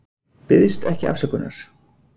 Biðst ekki afsökunar